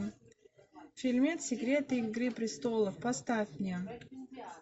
фильмец секреты игры престолов поставь мне